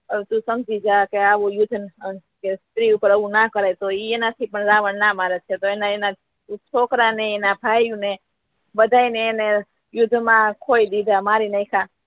સમજી ગયા આવુ યુદ્ધ સ્ત્રી ઉપર એવુ ના કરાય એના થી એ રાવણ ના માને અને એના છોકરા ને એના ભાઈઓ ને બધા ને એને યુદ્ધ મા ખોઈ દીઘા મારીનાંખ્યા